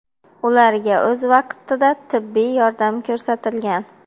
Ularga o‘z vaqtida tibbiy yordam ko‘rsatilgan.